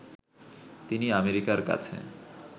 তিনি আমেরিকার কাছে